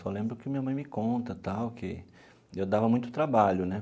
Só lembro que minha mãe me conta, tal, que eu dava muito trabalho, né?